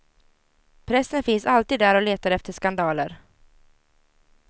Pressen finns alltid där och letar efter skandaler.